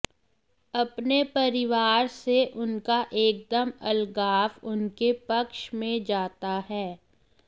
अपने परिवार से उनका एकदम अलगाव उनके पक्ष में जाता है